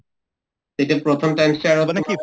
প্ৰথম trimister